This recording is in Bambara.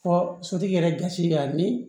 Fɔ sotigi yɛrɛ gasi la ni